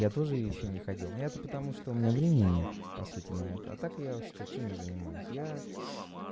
я тоже ещё не ходил на это потому что у меня времени нет по сути на это так я что чем я занимаюсь я